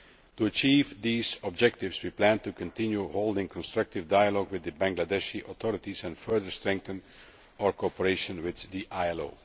To achieve these objectives, we plan to continue holding constructive dialogue with the Bangladeshi authorities and further strengthen our cooperation with the